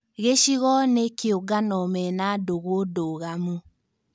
Gĩcigo na kĩũngano mena ndũgũ ndũgamu